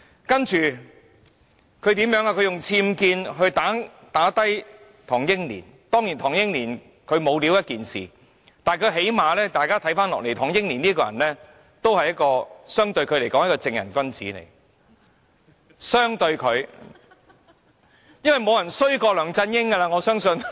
接着，他以僭建來擊倒唐英年，當然唐英年沒有才幹是一回事，但相對梁振英，唐英年尚算是一名正人君子，我相信沒有人比梁振英更差劣。